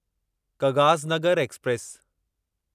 Kagaznagar express